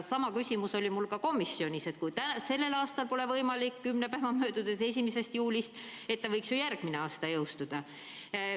Sama küsimus oli mul ka komisjonis, et kui sellel aastal pole võimalik seda jõustada kümne päeva möödudes 1. juulist, siis ta võiks ju järgmise aasta alguses jõustuda.